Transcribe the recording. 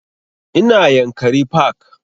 Ina yankari park